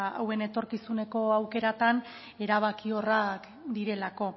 hauen etorkizuneko aukeratan erabakiorrak direlako